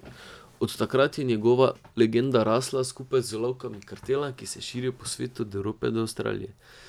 Od takrat je njegova legenda rasla, skupaj z lovkami kartela, ki se je razširil po svetu od Evrope do Avstralije.